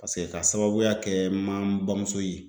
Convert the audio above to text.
Paseke k'a sababuya kɛ n man n bamuso ye.